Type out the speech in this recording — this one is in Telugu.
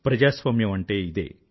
ప్రజాస్వామ్యం అంటే ఇదే